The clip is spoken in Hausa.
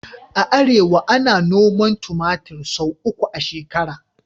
A arewa, ana noman tumatir sau uku a shekara